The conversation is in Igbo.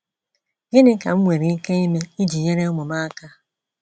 “Gịnị ka m nwere ike ime iji nyere ụmụ m aka ?”